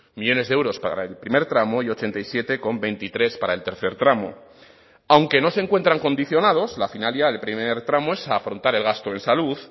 millónes de euros para el primer tramo y ochenta y siete coma veintitrés para el tercer tramo aunque no se encuentran condicionados la finalidad del primer tramo es afrontar el gasto en salud